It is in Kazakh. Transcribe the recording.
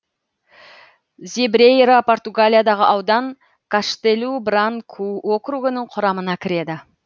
зебрейра португалиядағы аудан каштелу бранку округінің құрамына кіреді